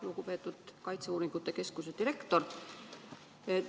Lugupeetud kaitseuuringute keskuse direktor!